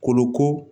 Kolo ko